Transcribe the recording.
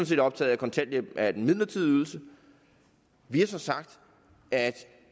set optaget af at kontanthjælp er en midlertidig ydelse vi har så sagt at